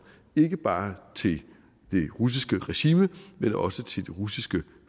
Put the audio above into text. ikke bare til det russiske regime men også til det russiske